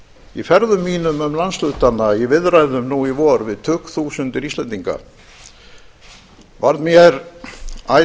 í ferðum mínum um landshlutana í viðræðum nú í vor við tugþúsundir íslendinga varð mér æ